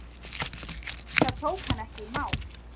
Það tók hann ekki í mál.